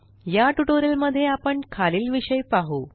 या ट्यूटोरियल मध्ये आपण खालील विषय पाहु